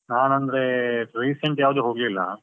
ನಾನಂದ್ರೆ, recent ಯಾವ್ದು ಹೋಗಿಲ್ಲ.